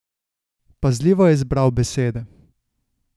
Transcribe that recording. Pazljivo je izbral besede.